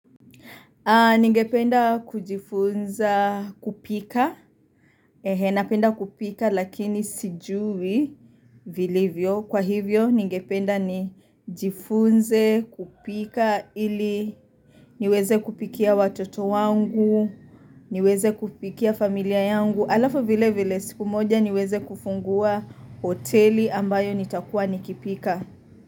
Ningependa kujifunza kupika, napenda kupika lakini sijui vilivyo. Kwa hivyo ningependa ni jifunze kupika iliniweze kupikia watoto wangu, niweze kupikia familia yangu. Alafu vile vile siku moja niweze kufungua hoteli ambayo nitakuwa nikipika.